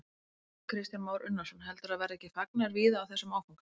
Kristján Már Unnarsson: Heldurðu að það verði ekki fagnaður víða á þessum áfanga?